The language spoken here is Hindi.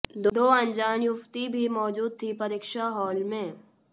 दो अनजान युवती भी मौजूद थी परीक्षा हॉल में